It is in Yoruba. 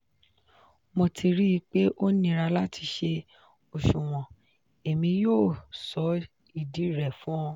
mo ti rii pe o nira lati ṣe oṣuwọn; emi yoo sọ idi rẹ fun ọ.